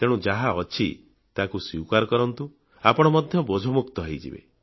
ତେଣୁ ଯାହା ଅଛି ତାକୁ ସ୍ୱୀକାର କରନ୍ତୁ ଆପଣ ମଧ୍ୟ ବୋଝମୁକ୍ତ ହୋଇଯିବେ